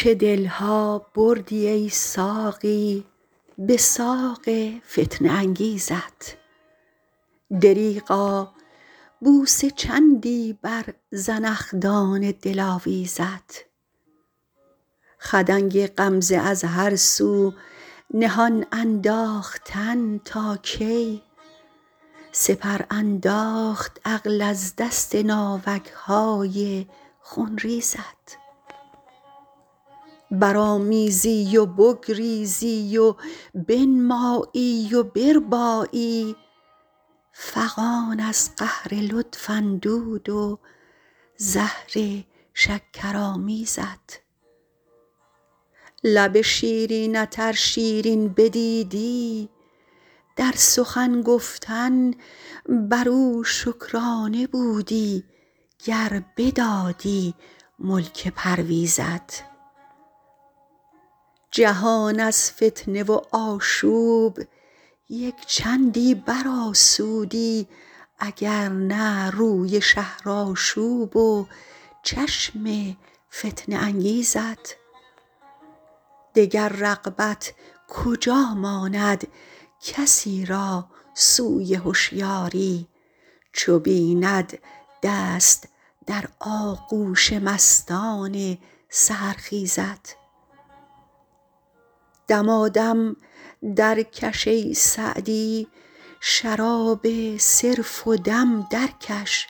چه دل ها بردی ای ساقی به ساق فتنه انگیزت دریغا بوسه چندی بر زنخدان دلاویزت خدنگ غمزه از هر سو نهان انداختن تا کی سپر انداخت عقل از دست ناوک های خونریزت برآمیزی و بگریزی و بنمایی و بربایی فغان از قهر لطف اندود و زهر شکرآمیزت لب شیرینت ار شیرین بدیدی در سخن گفتن بر او شکرانه بودی گر بدادی ملک پرویزت جهان از فتنه و آشوب یک چندی برآسودی اگر نه روی شهرآشوب و چشم فتنه انگیزت دگر رغبت کجا ماند کسی را سوی هشیاری چو بیند دست در آغوش مستان سحرخیزت دمادم درکش ای سعدی شراب صرف و دم درکش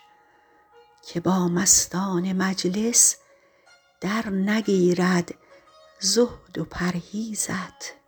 که با مستان مجلس درنگیرد زهد و پرهیزت